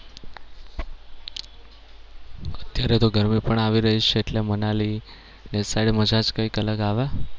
અત્યારે તો ગરમી પણ આવી રહી છે એટલે મનાલી એ side મજા જ કઈક અલગ આવે.